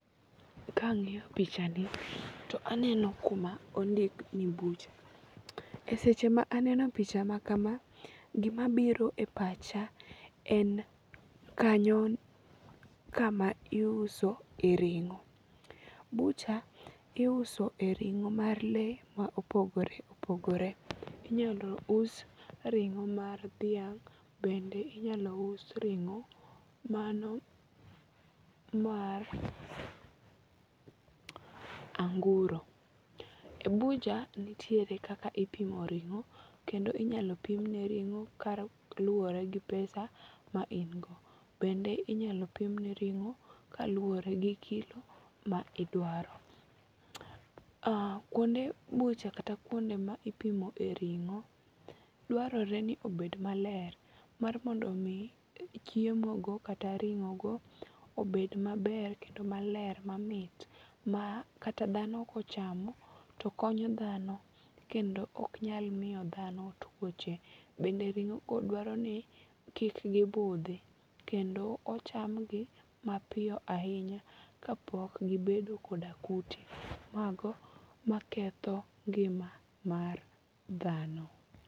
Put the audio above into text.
Ka ang'iyo picha ni to aneno kuma ondik ni bucha. E seche ma aneno picha ma kama, gima biro e pacha en kanyo kama iuso e ring'o. Bucha iuso e ring'o mar le ma opogore opogore. Inyalo us ring'o mar dhiang'. Bende inyalo us ring'o mano mar anguro. Bucha nitiere kaka ipimo ring'o. Kendo inyalo pim ne ring'o ka luwore gi pesa ma in go. Bende inyalo pimne ring'o kaluwore gi kilo ma idwaro. Kuonde bucha kata kuonde ma ipimo e ring'o dwarore ni obed maler mar mondo omi chiemo go kata ring'o go obed maber kendo maler mamit ma kata dhano kochamo to konyo dhano kendo ok nyal miyo dhano tuoche. Bende ring'o ko dwaro ni kik gibudhi kendo ochamgi mapiyo ahinya kapok gibedo koda kute mago maketho ngima mar dhano.